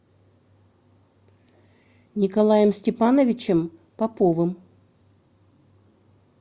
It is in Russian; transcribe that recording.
николаем степановичем поповым